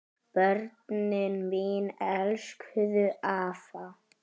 Börnin mín elskuðu afa.